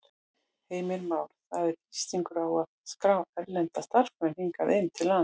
Heimir Már: Það er þrýstingur á að skrá erlenda starfsmenn hingað inn til landsins?